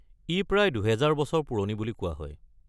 ই প্ৰায় দুহেজাৰ বছৰ পুৰণি বুলি কোৱা হয়।